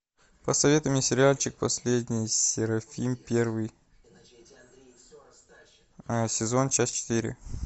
посоветуй мне сериальчик последний серафим первый сезон часть четыре